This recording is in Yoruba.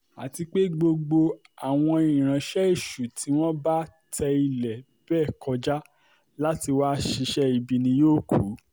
àti pé gbogbo àwọn ìránṣẹ́ èṣù tí wọ́n bá tẹ ilẹ̀ bẹ́ẹ̀ kọjá láti wáá ṣiṣẹ́ ibi ni yóò kù